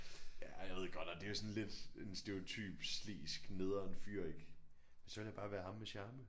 Ja jeg ved godt at det er jo sådan lidt en stereotyp slesk nederen fyr ik men så ville jeg bare være ham med charmen